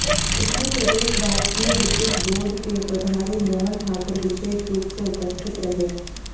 इसमें प्रदेश राजकीय विद्युत बोर्ड के प्रभारी मोहन ठाकुर विशेष रूप से उपस्थित रहे